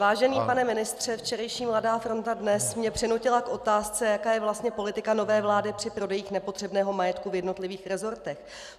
Vážený pane ministře, včerejší Mladá fronta Dnes mě přinutila k otázce, jaká je vlastně politika nové vlády při prodejích nepotřebného majetku v jednotlivých resortech.